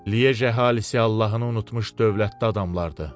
Liej əhalisi Allahını unutmuş dövlətdə adamlardı.